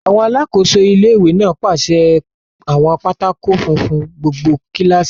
Àwọn alákòóso ilé-ìwé náà pèsè àwọn pátákó funfun fún gbogbo kílásì náà